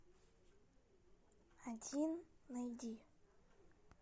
один найди